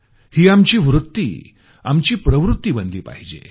ही आमची वृत्ती आमची प्रवृत्ती बनली पाहिजे